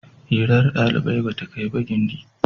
Hirar ɗalibai ba kai ba gindi.